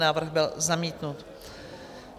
Návrh byl zamítnut.